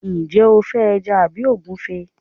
njé o fe eja tabi ogunfe